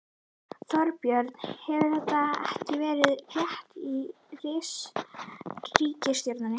Þorbjörn: Hefur þetta eitthvað verið rætt í ríkisstjórninni?